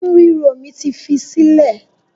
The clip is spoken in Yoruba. Inu ríro mi ti fi í sílẹ̀